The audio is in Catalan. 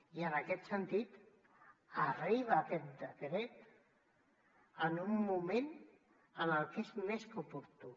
i en aquest sentit arriba aquest decret en un moment en què és més que oportú